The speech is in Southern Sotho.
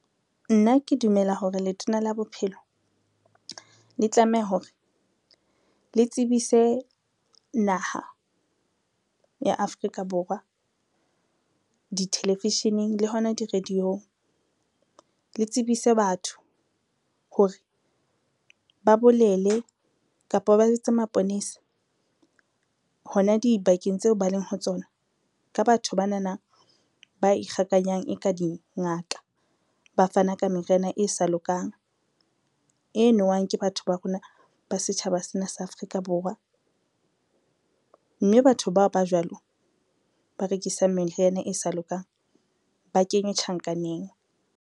Nna ke dumela hore letona la bophelo le tlameha hore le tsebise naha ya Afrika Borwa di-television-eng le hona di-radio-ng, le tsebise batho hore ba bolele kapa ba jwetse maponesa hona dibakeng tseo ba leng ho tsona ka batho banana ba ikgakanyang e ka dingaka. Ba fana ka meriana e sa lokang e nowang ke batho ba rona ba setjhaba sena sa Afrika Borwa, mme batho bao ba jwalo ba rekisang meriana e sa lokang, ba kenywe tjhankaneng.